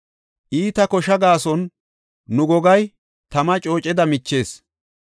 Iita kosha gaason, nu gogay tama cooceda michees.